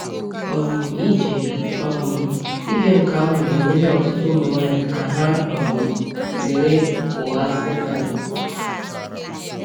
um Ije um Ije nke ahụ ga-enyere ọtụtụ ụmụ nwanyị ka ha um zere ụgha Satani.